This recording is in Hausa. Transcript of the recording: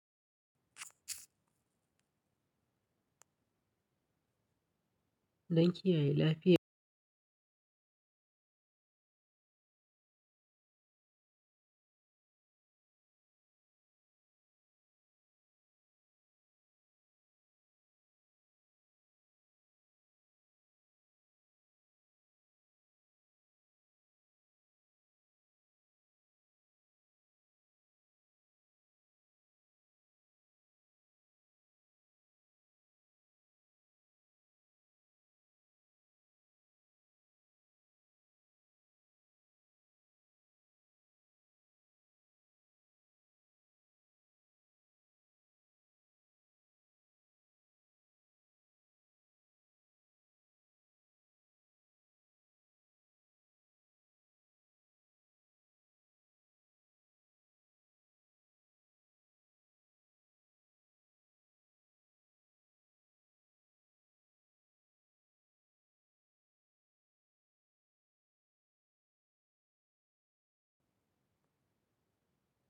Danki, yaye. Lafiya.